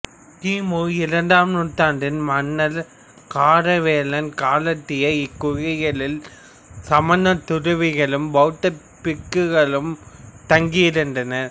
கி மு இரண்டாம் நூற்றாண்டில் மன்னர் காரவேலன் காலத்திய இக்குகைகளில் சமணத் துறவிகளும் பௌத்த பிக்குகளும் தங்கியிருந்தனர்